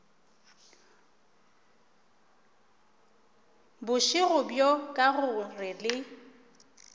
bošego bjo ka gore le